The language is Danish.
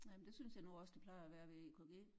Ja men det synes jeg nu også det plejer at være ved EKG